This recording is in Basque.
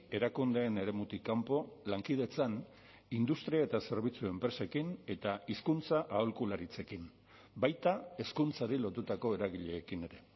erakundeen eremutik kanpo lankidetzan industria eta zerbitzu enpresekin eta hizkuntza aholkularitzekin baita hezkuntzari lotutako eragileekin ere